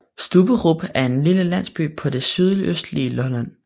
Stubberup er en lille landsby på det sydøstlige Lolland